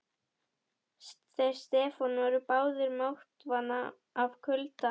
Þeir Stefán voru báðir máttvana af kulda.